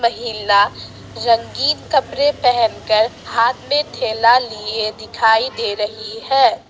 महिला रंगीन कपड़े पहनकर हाथ में थैला लिए दिखाई दे रही है।